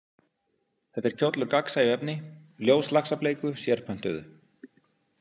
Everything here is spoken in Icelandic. Þetta er kjóll úr gagnsæu efni, ljóslaxableiku, sérpöntuðu.